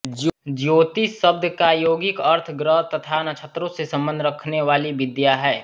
ज्योतिष शब्द का यौगिक अर्थ ग्रह तथा नक्षत्रों से संबंध रखनेवाली विद्या है